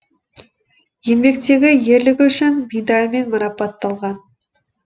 еңбектегі ерлігі үшін медалымен марапатталған